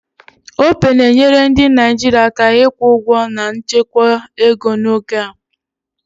Opay na-enyere ndị Naijiria aka ịkwụ ụgwọ na nchekwa ego n'oge a